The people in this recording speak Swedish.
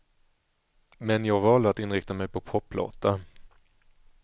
Men jag valde att inrikta mig på poplåtar.